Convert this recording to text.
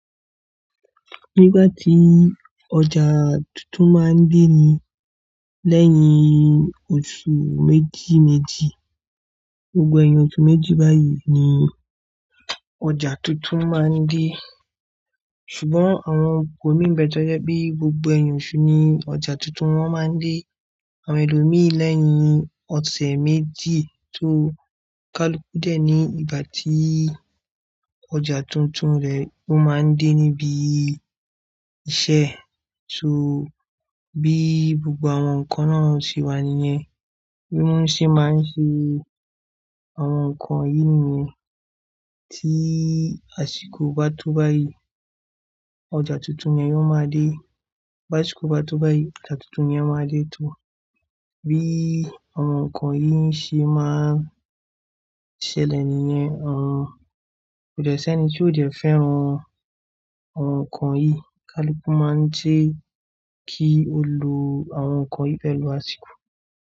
Nígbà tí ọjà tuntun máa ń dé ni lẹ́yìn oṣù méjì méjì, gbogbo ẹ̀yin oṣù méjì báyìí ni ọjà tuntun máa ń dé. Ṣùgbọ́n àwọn ibọ̀ mi ń bẹ tó jẹ́ pé gbogbo ẹ̀yin oṣù ni ọjà tuntun wọn máa ń dé. Àwọn ẹlòmíràn lẹ́yìn ọ̀sẹ̀ méjì tó káluku dé ní ìgbà tí ọjà tuntun rẹ ó máa ń dé níbí iṣẹ́ tó bí gbogbo àwọn nǹkan náà ṣe wà nìyẹn. Bí wọ́n ṣe máa ń ṣe àwọn nǹkan yìí nìyẹn. Tí àsìkò bá tó báyìí, ọjà tuntun yẹn yóò máa dé. Bí àsìkò bá tó báyìí, ọjà tuntun yẹn máa dé tó. Bí àwọn nǹkan yìí ṣe máa ń ṣẹlẹ̀ nìyẹn, àwọn kò dẹ̀ ṣẹ́ni tí ó dẹ̀ fẹ́ran àwọn nǹkan yìí kálúku tó máa ń jẹ́ kí ó lo àwọn nǹkan yìí pẹ̀lú àsìkò.